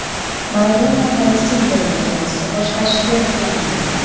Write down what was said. Maradona Falastin terma jamoasini boshqarishga yaqin turibdi.